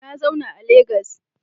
Na zauna a Legas